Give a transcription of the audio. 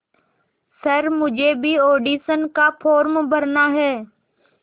sir मुझे भी audition का फॉर्म भरना है